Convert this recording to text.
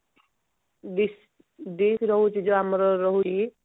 dish ରହୁଛି ଯୋଉ ଆମର ରହୁଛି